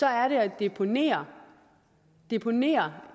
er det at deponere deponere